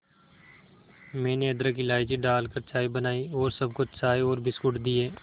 मैंने अदरक इलायची डालकर चाय बनाई और सबको चाय और बिस्कुट दिए